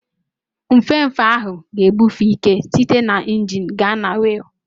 Nfefe ahụ ga-ebufe ike site na injin gaa na wiil.